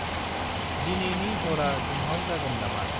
दिनैनि हरा दुंहाव जागोन नामा?